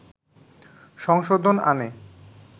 সংশোধন আনে